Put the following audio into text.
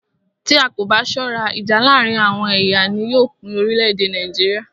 Tí a kò bá ṣọ́rá, ìjà láàárín àwọn ẹ̀yà ni yóò pín orílẹ̀-èdè Nàìjíríà.